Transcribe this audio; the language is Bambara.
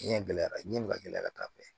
Ɲɛgɛn gɛlɛyara ɲɛbi ka gɛlɛya ka taa fɛ